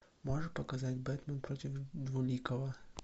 можешь показать бэтмен против двуликого